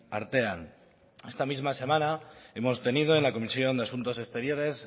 artean esta misma semana hemos tenido en la comisión de asuntos exteriores